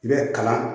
I bɛ kalan